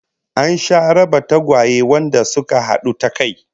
An sha raba tagwaye wanda suka hadu ta kai